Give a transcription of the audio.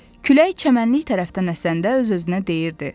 Külək çəmənlik tərəfdən əsəndə öz-özünə deyirdi: